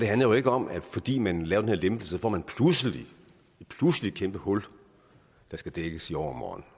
handler jo ikke om at fordi man laver den her lempelse så får man pludselig et kæmpe hul der skal dækkes i overmorgen